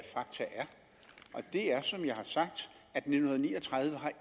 og det er som jeg har sagt at nitten ni og tredive